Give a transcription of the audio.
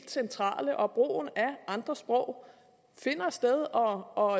centrale og brugen af andre sprog finder sted og